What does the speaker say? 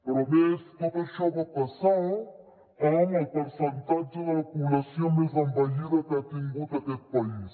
però a més tot això va passar amb el percentatge de la població més envellida que ha tingut aquest país